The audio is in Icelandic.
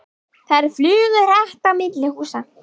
Þær flugu hratt á milli húsa.